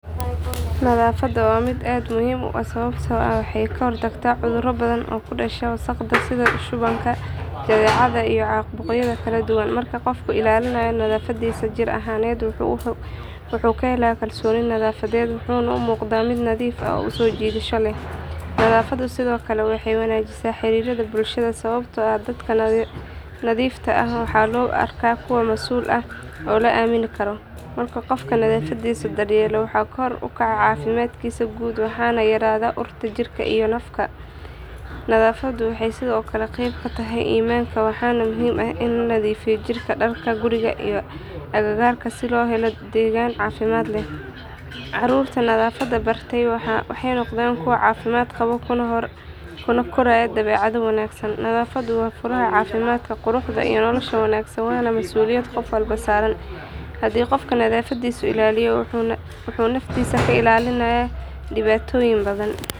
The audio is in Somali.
Nadaafaddu waa mid aad muhiim u ah sababtoo ah waxay ka hortagtaa cudurro badan oo ku dhasha wasakhda sida shubanka, jadeecada iyo caabuqyada kala duwan. Marka qofku ilaaliyo nadaafaddiisa jir ahaaneed wuxuu ka helaa kalsooni nafeed wuxuuna u muuqdaa mid nadiif ah oo soo jiidasho leh. Nadaafaddu sidoo kale waxay wanaajisaa xiriirka bulshada sababtoo ah dadka nadiifta ah waxaa loo arkaa kuwo masuul ah oo la aamini karo. Marka qofku nadaafaddiisa daryeelo waxaa kor u kaca caafimaadkiisa guud waxaana yaraada urta jirka iyo afka. Nadaafaddu waxay sidoo kale qeyb ka tahay iimaanka waxaana muhiim ah in la nadiifiyo jirka, dharka, guriga iyo agagaarka si loo helo deegaan caafimaad leh. Carruurta nadaafadda baratay waxay noqdaan kuwo caafimaad qaba kuna koraya dabeecado wanaagsan. Nadaafaddu waa furaha caafimaadka, quruxda iyo nolosha wanaagsan waana masuuliyad qof walba saaran. Haddii qofku nadaafaddiisa ilaaliyo wuxuu naftiisa ka ilaalinayaa dhibaatooyin badan.